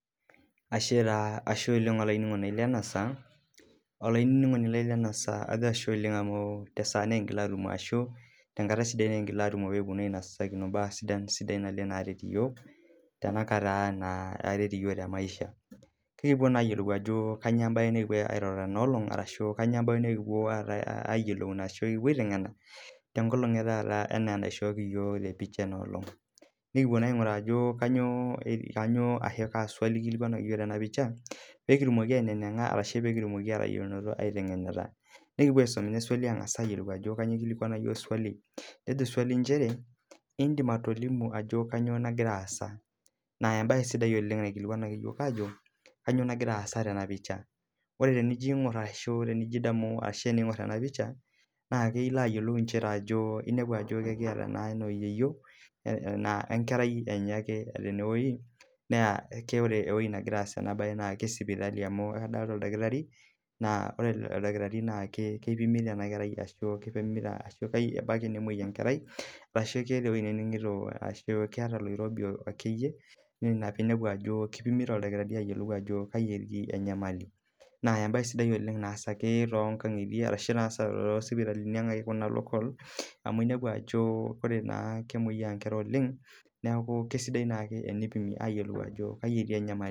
Ashe taa ashe oleng olaininingoni lai lenasaa ajo ashe oleng amu tesaa nikingila atumo pekipuo ainasakino mbaa sidan naleng naret yiok tenamaisha ekipuo na ayiolou ajo kanyio embae nikipuo aitengena tenaalong etaata enaaenaishooki iyok tepisha etaata nikipuo na ainguraa ajo kanyio swali naikilikwanaki yiok tenapisha pekitumoki atayiolo ashu apuo aitengena nikipuo aisum nejo swali nchere indim atolimu ajo kanyio nagira aasa na embae naikilikwanaki yiok ajo kanyio nagira aasa tenapisha ore tenijo aingur ashi tenijobadamu na ilo adol ajo etiata yeyio wenkerai enye ake tenewueji na ore ewoi nagira aasie enewueji na ore oldakitari kipimita enakerai ashubebaki nemoi enkerai ashu keeta oloirobi na ina pinepu ajo kipimita oldakitari na embae naasa tosipitalini aang amu inepu ajo kemoyia nkera oleng na kesidai ake enipimi ayiolou ajo kai etii enyamali.